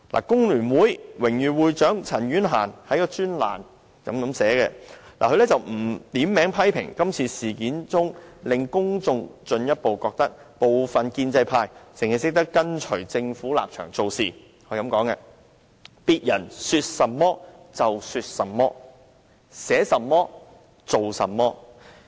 工聯會榮譽會長陳婉嫻在其專欄撰文，不點名批評今次事件令公眾進一步覺得，部分建制派只會跟隨政府立場做事，她提到："別人說甚麼就說甚麼，寫甚麼，做甚麼......